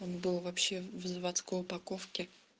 он был вообще в заводской упаковке